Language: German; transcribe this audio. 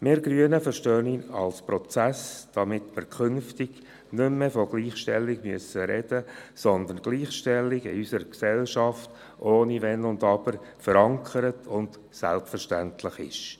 Wir Grünen verstehen ihn als Prozess, damit wir künftig nicht mehr von Gleichstellung sprechen müssen, sondern Gleichstellung in unserer Gesellschaft ohne Wenn und Aber verankert und selbstverständlich ist.